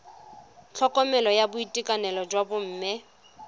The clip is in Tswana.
tlhokomelo ya boitekanelo jwa bomme